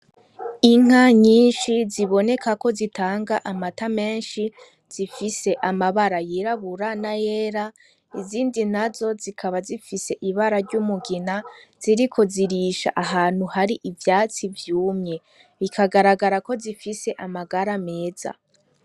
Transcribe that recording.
Inka nyinshi ziboneka ko zitanga amata menshi zifise amabara yirabura na yera izindi na zo zikaba zifise ibara ry'umugina ,ziri ko zirisha ahantu hari ivyatsi vyumye ,ikagaragara ko zifise amagara meza.